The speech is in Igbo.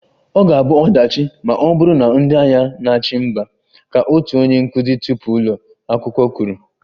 "Ọ ga-abụ ọdachi ma ọ bụrụ na ndị agha na-achị mba"" ka otu onye nkụzi tupu ụlọ akwụkwọ kwuru"